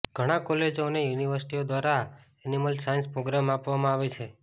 ઘણા કોલેજો અને યુનિવર્સિટીઓ દ્વારા એનિમલ સાયન્સ પ્રોગ્રામ આપવામાં આવે છે